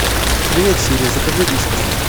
привет сири закажи вискас